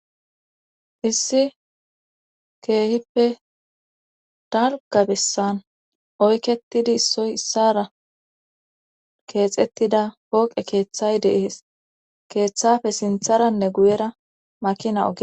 issi keehippe dalga bessan oyketidi issoy issara keexettida pooqe keeththay deees keeththafe sintharanne guyera makina oge